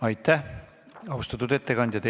Aitäh, austatud ettekandja!